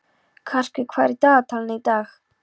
Karkur, hvað er í dagatalinu í dag?